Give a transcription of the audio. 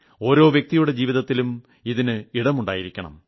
ഓരോ വ്യക്തിയുടെ ജീവിതത്തിലും അതിന് ഇടമുണ്ടായിരിക്കണം